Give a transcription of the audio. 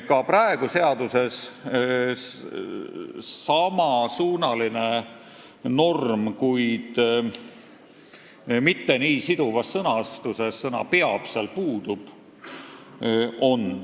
Ka praegu on seaduses samasuunaline norm, kuid mitte nii siduvas sõnastuses, sest sõna "peab" seal puudub.